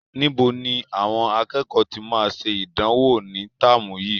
Níbo ni àwọn akẹ́kọ̀ọ́ tí máa ṣe ìdánwò ní táàmù yìí?